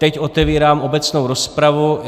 Teď otevírám obecnou rozpravu.